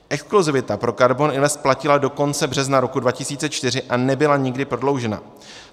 Exkluzivita pro KARBON INVEST platila do konce března roku 2004 a nebyla nikdy prodloužena.